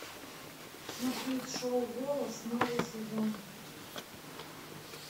смотреть шоу голос новый сезон